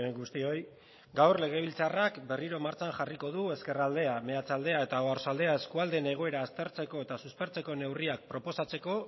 guztioi gaur legebiltzarrak berriro martxan jarriko du ezkerraldea meatzaldea eta oarsoaldea eskualdeen egoera aztertzeko eta suspertzeko neurria proposatzeko